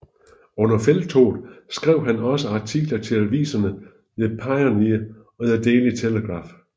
Under felttoget skrev han også artikler til aviserne The Pioneer og The Daily Telegraph